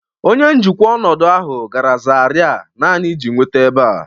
Onye njikwa ọnọdụ ahụ gara zaria naanị iji nweta ebe a